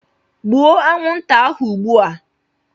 Gbuo anwụnta ahụ ugbu a!